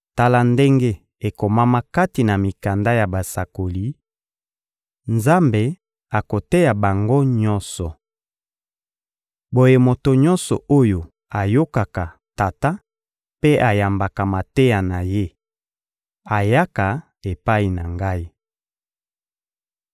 Tala ndenge ekomama kati na mikanda ya Basakoli: «Nzambe akoteya bango nyonso.» Boye moto nyonso oyo ayokaka Tata mpe ayambaka mateya na Ye ayaka epai na Ngai.